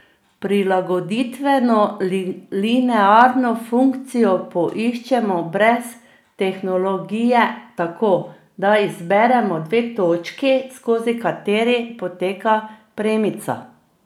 Prilagoditveno linearno funkcijo poiščemo brez tehnologije tako, da izberemo dve točki, skozi kateri poteka premica.